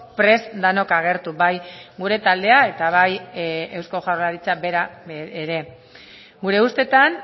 prest denok agertu bai gure taldea eta bai eusko jaurlaritza bera ere gure ustetan